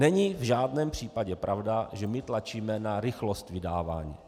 Není v žádném případě pravda, že my tlačíme na rychlost vydávání.